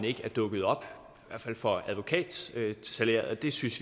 ikke er dukket op i for advokatsalæret vi synes